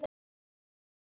Nema hvort tveggja sé.